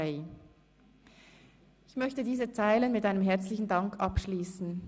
» Ich möchte diese Zeilen mit einem herzlichen Dank abschliessen.